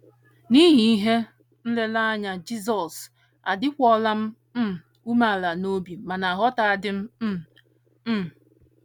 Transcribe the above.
N’ihi ihe nlereanya Jizọs, adịkwuola m um umeala n’obi ma na - aghọta di um m um.